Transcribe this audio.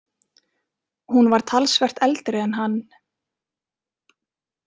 Hún var talsvert eldri en hann.